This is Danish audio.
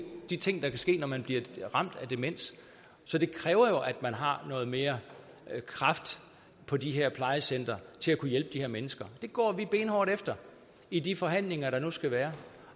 de ting der kan ske når man bliver ramt af demens så det kræver jo at man har noget mere kraft på de her plejecentre til at kunne hjælpe de her mennesker det går vi benhårdt efter i de forhandlinger der nu skal være